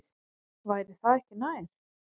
Væri það ekki nær?